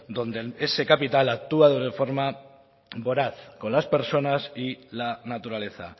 donde ese capital actúa de una forma voraz con las personas y la naturaleza